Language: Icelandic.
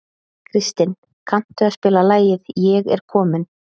Kristin, kanntu að spila lagið „Ég er kominn“?